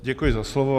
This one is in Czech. Děkuji za slovo.